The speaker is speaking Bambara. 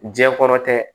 Diɲɛ kɔrɔtɛ